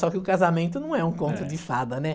Só que o casamento não é um conto de fada, né?